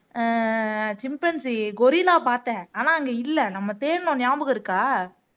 அஹ் chimpanzee gorilla பார்த்தேன் ஆனா அங்க இல்லை நம்ம தேடுனோம் ஞாபகம் இருக்கா